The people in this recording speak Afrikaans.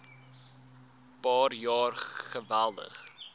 paar jaar geweldig